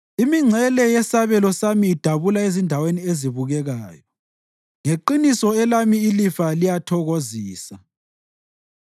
Imingcele yesabelo sami idabula ezindaweni ezibukekayo; ngeqiniso elami ilifa liyathokozisa.